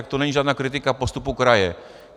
Tak to není žádná kritika postupu kraje.